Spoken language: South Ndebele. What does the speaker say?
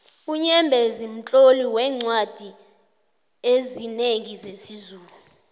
unyembezi mtloli weencwadi ezinengi zesizulu